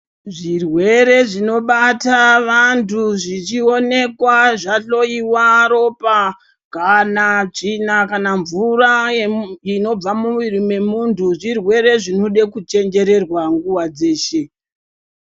Zvirwere zvinobata vantu zvichionekwa zvahloyiwa ropa kana tsvina kana mvura inobva mumwiri mwemuntu zvirwere zvinoda kuchenjererwa nguva dzeshe.